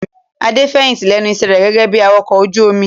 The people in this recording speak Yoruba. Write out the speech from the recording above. Adé fẹ̀yìntì lẹ́nu iṣẹ́ rẹ̀ gẹ́gẹ́ bí Awakọ̀ ojú omi.